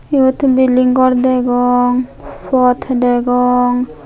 eyot building gor degong phat degong.